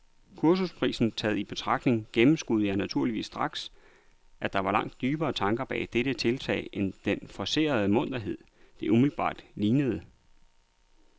Kursusprisen taget i betragtning gennemskuede jeg naturligvis straks, at der var langt dybere tanker bag dette tiltag end den forcerede munterhed, det umiddelbart lignede.